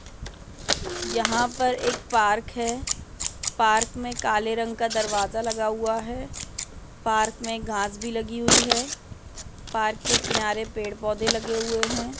यहाँ पर एक पार्क है। पार्क मे काले रंग का दरवाजा लगा हुआ है। पार्क मे घास भी लगी हुई है। पार्क के किनारे पेड़ पौधे लगे हुए है।